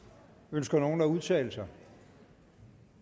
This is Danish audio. ønsker nogen at udtale sig